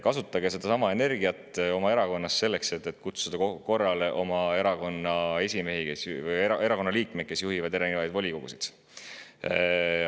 Kasutage sedasama energiat oma erakonnas selleks, et kutsuda korrale oma erakonna liikmeid, kes juhivad erinevaid volikogusid.